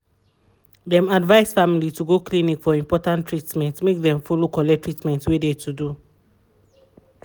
dem advice family to go clinic for important treatment make dem follow collect treatment wey de to do.